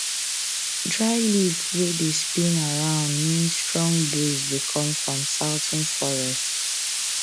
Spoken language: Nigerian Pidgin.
dry leaf wey dey spin round mean strong breeze dey come from southern forest